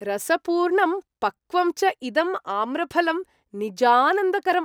रसपूर्णं पक्वं च इदम् आम्रफलं निजानन्दकरम् ।